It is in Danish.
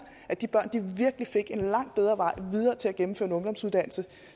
at de børn virkelig fik en langt bedre vej videre til at gennemføre en ungdomsuddannelse